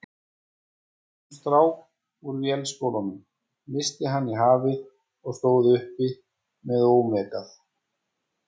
Svo giftist hún strák úr Vélskólanum, missti hann í hafið og stóð uppi með ómegð.